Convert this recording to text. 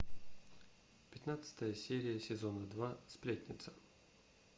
пятнадцатая серия сезона два сплетница